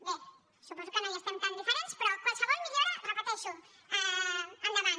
bé suposo que no hi estem tan diferents però qualsevol millora ho repeteixo endavant